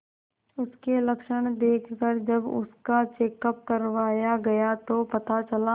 उसके लक्षण देखकरजब उसका चेकअप करवाया गया तो पता चला